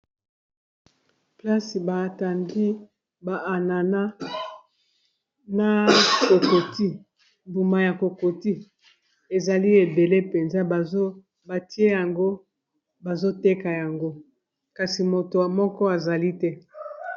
Place batandi ba anana na kokoti mbuma ya kokoti ezali ebele mpenza batie yango bazoteka yango kasi moto moko azali te.